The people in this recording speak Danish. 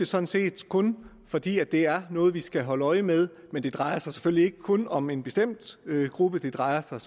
sådan set kun fordi det er noget vi skal holde øje med men det drejer sig selvfølgelig ikke kun om en bestemt gruppe det drejer sig